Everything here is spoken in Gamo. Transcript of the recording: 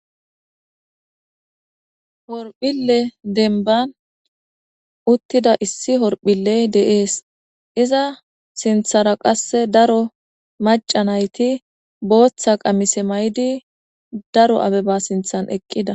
Horphile denban uttida issi horphilley deees iza sinthara qasse daro macanayti booththa qamise may'di daro abeba sinthan eqqida.